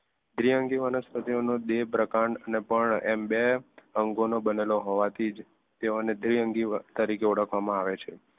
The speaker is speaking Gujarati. દ્વિઅંગી વનસ્પતિનો દેહિપ્રકાંડ પ્રકાંડ એમ બે અંગોનો બનેલો હોવાથી જ તેઓ ને દ્વિઅંગી તરીકે ઓળખવામાં આવે છે